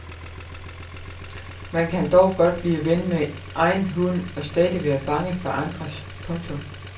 Man kan dog godt blive ven med egen hund og stadig være bange for andres. punktum